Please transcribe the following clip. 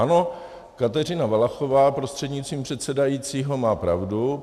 Ano, Kateřina Valachová, prostřednictvím předsedajícího, má pravdu.